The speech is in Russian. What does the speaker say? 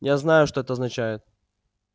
я знаю что это означает